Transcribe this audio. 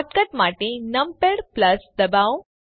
shortcut માટે numpad દબાવો